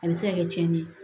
A bɛ se ka kɛ tiɲɛni ye